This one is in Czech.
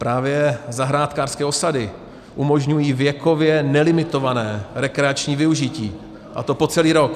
Právě zahrádkářské osady umožňují věkově nelimitované rekreační využití, a to po celý rok.